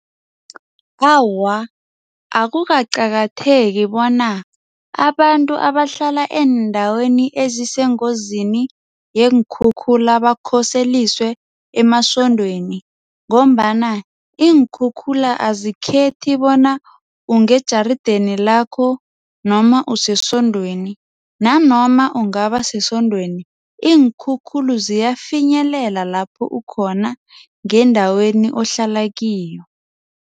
Awa, akukaqatheki bona abantu abahlala eendaweni ezisengozini yeenkhukhula bakhoseliswe emasontweni ngombana iinkhukhula azikhethi bona ungejarideni lakho noma usesontweni nanoma ungabasesontweni iinkhukhula ziyafinyelela lapho ukhona ngendaweni ohlala kiyo